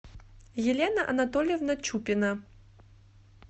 елена анатольевна чупина